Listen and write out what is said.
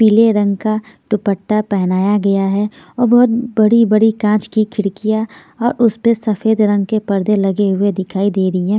पीले रंग का दुपट्टा पहनाया गया है और बहोत बड़ी-बड़ी कांच की खिड़कियां और उस पर सफेद रंग के परदे लगे हुए दिखाई दे रही है।